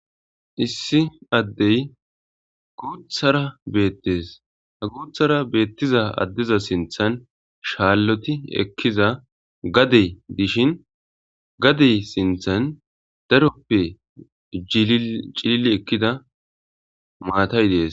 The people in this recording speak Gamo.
Issi addey guuthara beettees ha guuthara beettiza addiza sinthan shaalloti ekkiza gadey dishin gadey sinthan daroppe cii ekkida maatay dees